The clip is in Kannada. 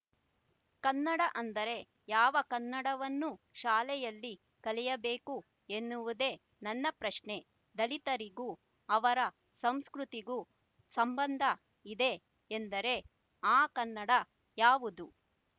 ಕನ್ನಡ ಅಂದರೆ ಯಾವ ಕನ್ನಡವನ್ನು ಶಾಲೆಯಲ್ಲಿ ಕಲಿಯಬೇಕು ಎನ್ನುವುದೆ ನನ್ನ ಪ್ರಶ್ನೆ ದಲಿತರಿಗೂ ಅವರ ಸಂಸ್ಕೃತಿಗೂ ಸಂಬಂಧ ಇದೆ ಎಂದರೆ ಆ ಕನ್ನಡ ಯಾವುದು